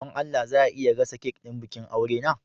Don Allah za a iya gasa kek ɗin bikin aure na?